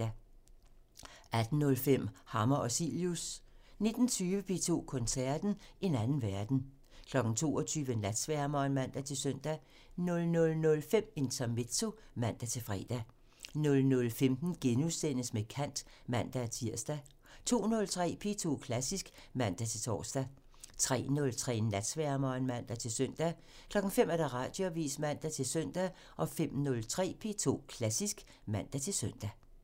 18:05: Hammer og Cilius (man) 19:20: P2 Koncerten – En anden verden 22:00: Natsværmeren (man-søn) 00:05: Intermezzo (man-fre) 00:15: Med kant *(man-tir) 02:03: P2 Klassisk (man-tor) 03:03: Natsværmeren (man-søn) 05:00: Radioavisen (man-søn) 05:03: P2 Klassisk (man-søn)